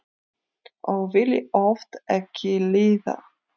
Og vildi oft ekki lifa.